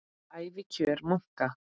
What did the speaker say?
Ævikjör munka